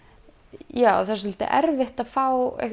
já það er svolítið erfitt að fá